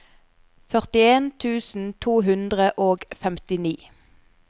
førtien tusen to hundre og femtini